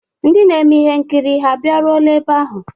Ndị na-eme ihe nkiri abịaruola ebe ahụ?